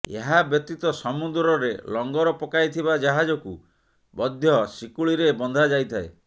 ଏହା ବ୍ୟତୀତ ସମୁଦ୍ରରେ ଲଂଗର ପକାଇଥିବା ଜାହାଜକୁ ମଧ୍ୟ ଶିକୁଳିରେ ବନ୍ଧାଯାଇଥାଏ